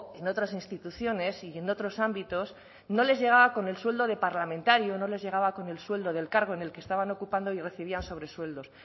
en otras instituciones y en otros ámbitos no les llegaba con el sueldo de parlamentario no les llegaba con el sueldo del cargo en el que estaban ocupando y recibían sobresueldos